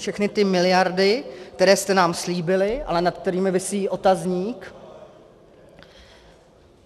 Všechny ty miliardy, které jste nám slíbili, ale nad kterými visí otazník?